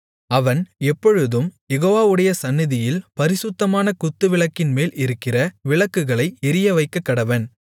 அவன் எப்பொழுதும் யெகோவாவுடைய சந்நிதியில் பரிசுத்தமான குத்துவிளக்கின்மேல் இருக்கிற விளக்குகளை எரியவைக்கக்கடவன்